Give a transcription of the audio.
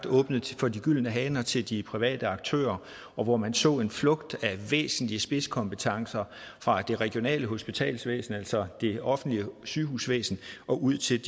åbnet for de gyldne haner til de private aktører og hvor man så en flugt af væsentlige spidskompetencer fra det regionale hospitalsvæsen altså det offentlige sygehusvæsen og ud til